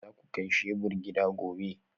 Za ku kai shebur gida gobe?